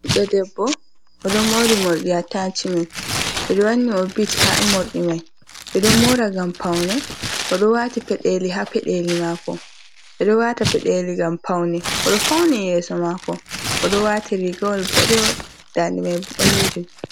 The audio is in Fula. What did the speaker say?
Ɓiiɗɗo debbo oɗo mori morɗi atachimen ɓeɗo wanni mo bit ha morɗi mai, ɓeɗo mora ngam paune oɗo wati peɗeli ha peɗeli mako, ɓeɗo wata peɗeli ngam paune, oɗo fauni yeso mako, oɗo wati rigawol boɗewol dande mai bo ɓalejum.